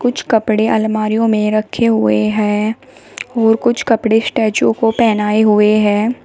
कुछ कपड़े अलमारीयों में रखे हुए हैं और कुछ कपड़े स्टैचूओ को पहनाए हुए हैं।